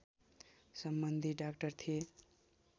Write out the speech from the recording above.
सम्बन्धि डाक्टर थिए